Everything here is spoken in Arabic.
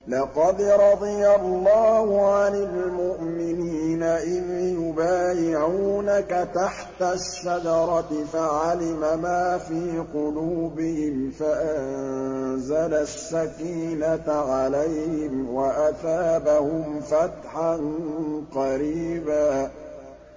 ۞ لَّقَدْ رَضِيَ اللَّهُ عَنِ الْمُؤْمِنِينَ إِذْ يُبَايِعُونَكَ تَحْتَ الشَّجَرَةِ فَعَلِمَ مَا فِي قُلُوبِهِمْ فَأَنزَلَ السَّكِينَةَ عَلَيْهِمْ وَأَثَابَهُمْ فَتْحًا قَرِيبًا